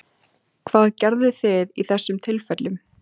Hvað gerðuð þið í þessum tilfellum?